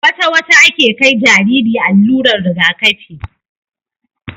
wata wata ake kai Jariri allurar Riga kafi